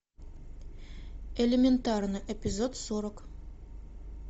элементарно эпизод сорок